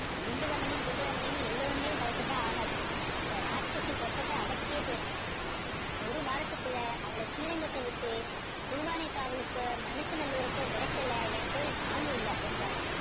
குண்டு ரமணி குண்டு ரமணின்னு எல்லோருமே பயப்பட்டா ஆகாது அந்த இராட்சசி கொட்டத்தை அடக்கியே தீரணும் ஒரு வாரத்துக்குள்ள அவளை ஸ்ரீரங்கத்தை விட்டு திருவானைக்காவலுக்கோ மண்ணச்சநல்ல்ய்ய்ருக்கோ விரட்டல என் பேரு நானு இல்லை என்றார்